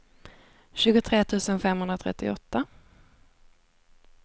tjugotre tusen femhundratrettioåtta